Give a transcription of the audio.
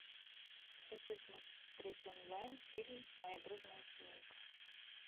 хочу смотреть онлайн фильм моя дружная семейка